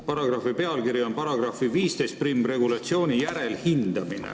Paragrahvi pealkiri on "Paragrahvi 151 regulatsiooni järelhindamine".